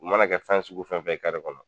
U mana kɛ fɛn sugu fɛn fɛn kɔnɔ